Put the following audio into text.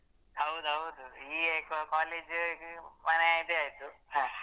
ಹೌದೌದು ಈ college ಮನೆ ಇದೇ ಆಯ್ತು ಹ.